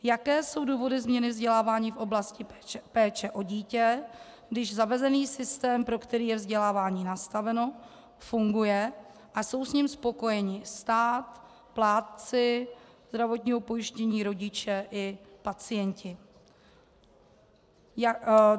Jaké jsou důvody změny vzdělávání v oblasti péče o dítě, když zavedený systém, pro který je vzdělávání nastaveno, funguje a jsou s ním spokojeni stát, plátci zdravotního pojištění, rodiče i pacienti?